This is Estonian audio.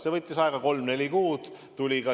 See võttis aega kolm-neli kuud.